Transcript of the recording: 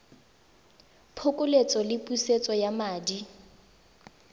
phokoletso le pusetso ya madi